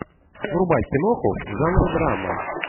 врубай киноху в жанре драма